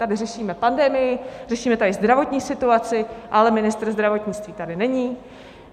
Tady řešíme pandemii, řešíme tady zdravotní situaci, ale ministr zdravotnictví tady není.